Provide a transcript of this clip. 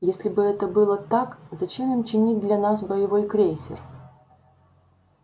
если бы это было так зачем им чинить для нас боевой крейсер